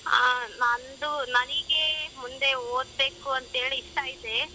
ಹಾ ನಂದು ನನಿಗೆ ಮುಂದೆ ಓದಬೇಕು ಅಂತೇಳಿ ಇಷ್ಟ ಐತೆ.